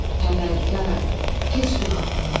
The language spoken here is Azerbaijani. Pərvərdigara, keç günahımdan.